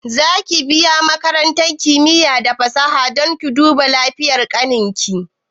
Za ki biya makarantar kimiya da fasaha don ki duba lafiyan ƙanin ki?